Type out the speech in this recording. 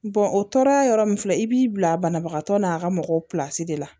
o tɔɔrɔ yɔrɔ min filɛ i b'i bila banabagatɔ n'a ka mɔgɔw pilasi de la